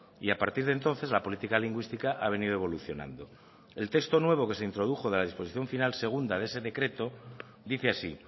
y a partir de entonces la política lingüística ha venido evolucionando el texto nuevo que se introdujo de la disposición final segunda de ese decreto dice así